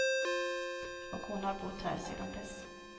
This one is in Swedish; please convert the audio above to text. Och hon har bott här sedan dess.